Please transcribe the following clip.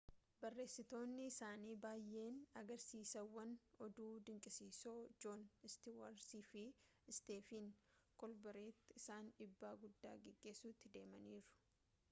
barreessitootni isaanii baayeen agarsiisawwan oduu dinqisiisoo joon istiwaartii fi isteefen koolberti irraan dhiibbaa guddaa geessisuutti deemaniiru